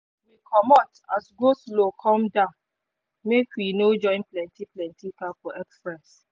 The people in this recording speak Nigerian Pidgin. we comot as go-slow come down make we no join plenty plenty car for express